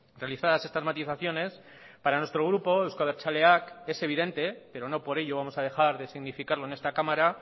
realizadas estas matizaciones para nuestro grupo euzko abertzaleak es evidente pero no por ello vamos a dejar de significarlo en esta cámara